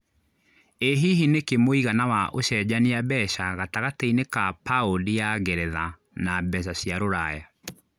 ĩ hihi nĩ kĩ mũigana wa ũcenjanĩa mbeca gatagatĩinĩ ka paũndi ya ngeretha na mbeca cia rũraya